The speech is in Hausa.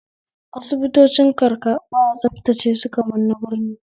Asibitocin karka ba a tsabtace su kamar na birni